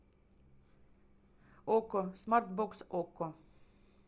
окко смарт бокс окко